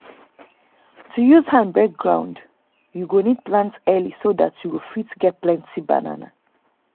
to use hand break ground you go need plant early so that you go fit get plenty banana.